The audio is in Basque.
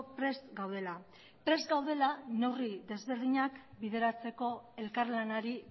prest gaudela prest gaudela neurri desberdinak bideratzeko elkarlanari